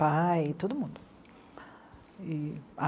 Pai, todo mundo. E...